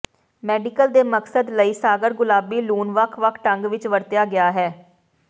medical ਦੇ ਮਕਸਦ ਲਈ ਸਾਗਰ ਗੁਲਾਬੀ ਲੂਣ ਵੱਖ ਵੱਖ ਢੰਗ ਵਿੱਚ ਵਰਤਿਆ ਗਿਆ ਹੈ